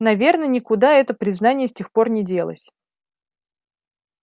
наверное никуда это признание с тех пор не делось